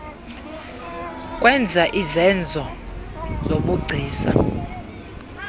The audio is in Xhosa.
kwenza izenzo zobugcisa